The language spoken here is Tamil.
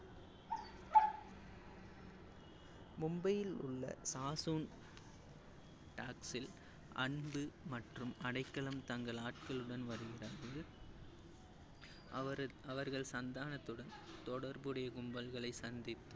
மும்பையில் உள்ள சாசூன் டாக்சில், அன்பு மற்றும் அடைக்கலம் தங்கள் ஆட்களுடன் வருகிறார்கள். அவர்~ அவர்கள் சந்தானத்துடன் தொடர்புடைய கும்பல்களை சந்தித்து